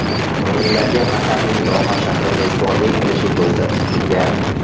O‘yinlarga Qatarning Doha shahri mezbonlik qilishi ko‘zda tutilgan.